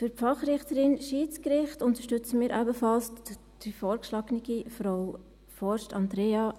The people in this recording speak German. Für die Fachrichterin Schiedsgericht unterstützen wir ebenfalls die vorgeschlagene Frau Frost-Hirschi Andrea.